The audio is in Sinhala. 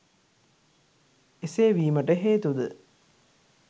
එසේ වීමට හේතුද